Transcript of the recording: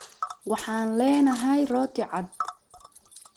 Waxaan leenahay rooti cad.